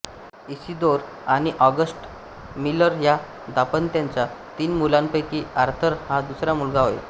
Isidore आणि Augusta Miller या दांपत्याच्या तीन मुलांपैकी आर्थर हा दुसरा मुलगा होय